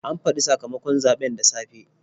An faɗi sakamakon zaɓen da safe.